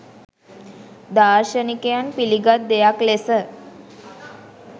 දාර්ශනිකයන් පිළිගත් දෙයක් ලෙස